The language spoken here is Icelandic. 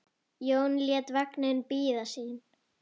Jón lét vagninn bíða sín.